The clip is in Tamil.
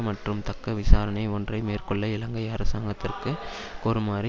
மற்றும் தக்க விசாரணை ஒன்றை மேற்கொள்ள இலங்கை அரசாங்கத்திற்கு கோருமாறு